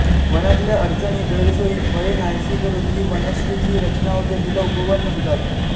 वनातल्या अडचणी गैरसोयी भये नाहीशी करून जी वनश्रीची रचना होते तिला उपवन म्हणतात